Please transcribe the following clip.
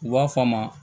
U b'a fɔ a ma